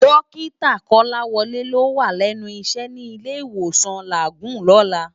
Dòkitá Kolawole ló wá lènú iṣè ni Ilé Iwósán Lágúùn lòlá